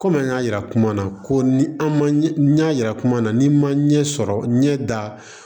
Komi an y'a yira kuma na ko ni an ma yira kuma na n'i ma ɲɛ sɔrɔ ɲɛ da